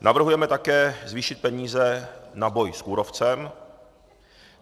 Navrhujeme také zvýšit peníze na boj s kůrovcem.